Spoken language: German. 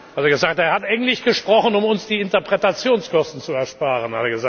Er hat gesagt, er hat Englisch gesprochen, um uns die Interpretationskosten zu ersparen.